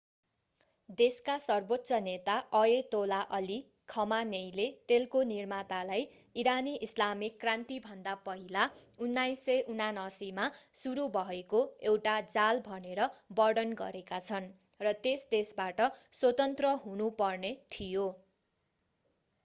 देशका सर्वोच्च नेता अयतोला अली खमानेइले तेलको निर्मातालाई ईरानी ईस्लामिक क्रान्तिभन्दा पहिला 1979 मा सुरु भएको एउटा जाल भनेर वर्णन गरेका छन् र त्यस देशबाट स्वतन्त्र हुनुपर्ने थियो